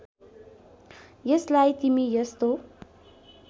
यसलाई तिमी यस्तो